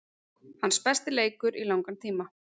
Hans besti leikur í langan tíma.